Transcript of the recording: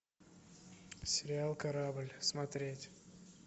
сериал корабль смотреть